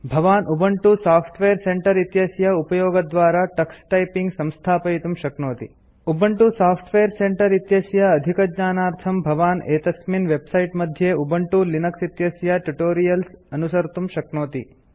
भवान् Ubuntu software centre इत्यस्य उपयोगद्वारा टक्स टाइपिंग संस्थापयितुं शक्नोति उबंटू सॉफ्टवेयर सेंटर इत्यस्य अधिकज्ञानार्थं भवान् एतस्मिन् वेबसाइट मध्ये उबंटू लिनक्स इत्यस्य टयूटोरियल्स अनुसर्तुं शक्नोति